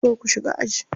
So ku shiga aji.